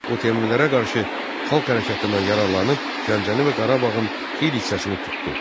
O Teymurilərə qarşı xalq hərəkatından yararlanıb, Gəncəni və Qarabağın xeyli hissəsini tutdu.